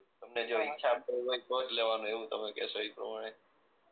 તમને જે ઈચ્છા પડે તો જ લેવાનો એવું તમે કેશો ઈ પ્રમાણે